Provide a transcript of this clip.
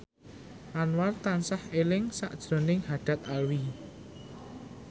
Anwar tansah eling sakjroning Haddad Alwi